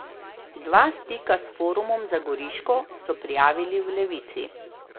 Dva stika s Forumom za Goriško so prijavili v Levici.